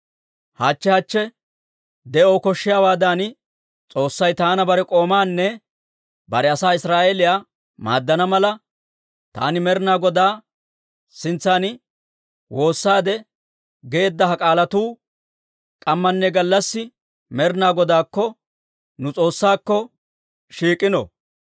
Hachche hachche de'oo koshshiyaawaadan, S'oossay taana bare k'oomaanne bare asaa Israa'eeliyaa maaddana mala, taani Med'inaa Godaa sintsan woossaade geedda ha k'aalatuu k'ammanne gallassi Med'inaa Godaakko, nu S'oossaakko, shiik'ino.